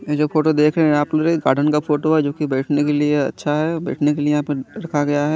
ये जो फोटो देख रहे है आप ये गार्डन का फोटो है जो कि बैठ ने के लिए अच्छा है बैठ ने के लिए यहाँ पे रखा गया है।